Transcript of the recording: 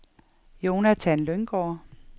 Jonathan Lynggaard